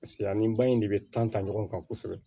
paseke ani ba in de be ta ɲɔgɔn kan kosɛbɛ